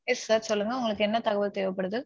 Yes sir சொல்லுங்க உங்களுக்கு என்ன தகவல் தேவைப்படுது?